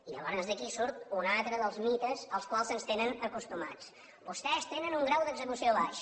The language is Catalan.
i llavors d’aquí surt un altre dels mites als quals ens tenen acostumats vostès tenen un grau d’execució baix